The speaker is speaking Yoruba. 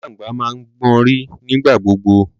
Alangba máa ń gbọnrí nígbà gbogbo